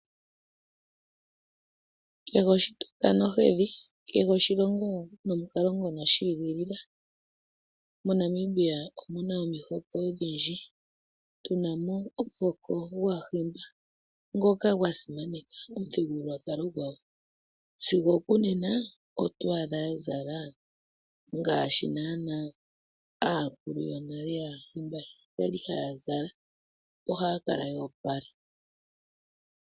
Omukulu gonale okwatile oshitunda nohedhi oshilongo nomukalo gwadho. Mo Namibia omuna omihoko odhindji. Otuna mo onuhoko gwaahimba ngoka sigo onena gwasimaneka omuthigululwakalo gwawo .Sigo onena ndjika ohaya zala ngaashi aakulu yonale yaahimba ya kala haya zala yoopala.